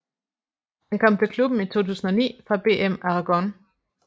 Han kom til klubben i 2009 fra BM Aragón